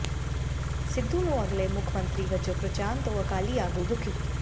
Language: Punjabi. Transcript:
ਸਿੱਧੂ ਨੂੰ ਅਗਲੇ ਮੁੱਖ ਮੰਤਰੀ ਵਜੋਂ ਪ੍ਰਚਾਰਨ ਤੋਂ ਅਕਾਲੀ ਆਗੂ ਦੁਖੀ